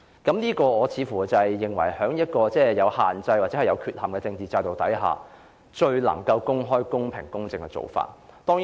我認為這是在政治制度有限制或有缺陷的情況下最為公開、公平和公正的做法。